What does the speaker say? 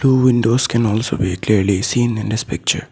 Two windows can also be clearly seen in this picture.